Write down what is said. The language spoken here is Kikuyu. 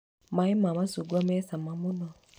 Maaĩ ma macungwa me cama mũno.